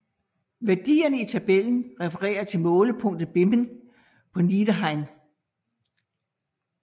Værdierne i tabellen refererer til målepunktet Bimmen på Niederrhein